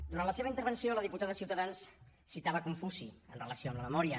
durant la seva intervenció la diputada de ciutadans citava confuci amb relació a la memòria